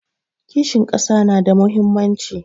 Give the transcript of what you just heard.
Kishin ƙasa na da muhimmanci